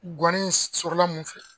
Guwanni in sɔrɔ la mun fɛ?